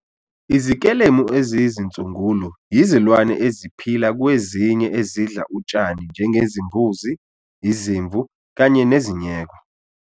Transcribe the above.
Izikelemu eziyizinsungulo yizilwane eziphila kwezinye ezidla utshani njengezimbuzi, izimvu kanye nezinyeko.